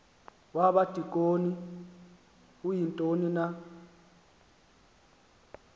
wabadikoni uyintoni na